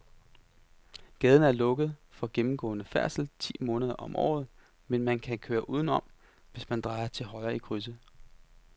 Gaden er lukket for gennemgående færdsel ti måneder om året, men man kan køre udenom, hvis man drejer til højre i krydset.